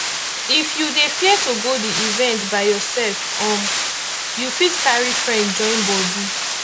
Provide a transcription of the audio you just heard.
if you dey fear to go di event by yourself um you fit carry friend join body